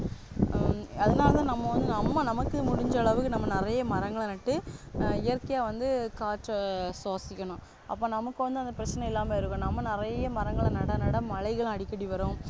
அஹ் அதனால நம்ம வந்து நம்ம நமக்கு முடிஞ்ச அளவுக்கு நம்ம நிறைய மரங்களை நட்டு இயற்கையா வந்து காற்ற சுவாசிக்கணும் அப்போ நமக்கு வந்து அந்த பிரச்சனை இல்லாம இருக்கும் நம்ம நிறைய மரங்களை நட நட மழைகளும் அடிக்கடி வரும்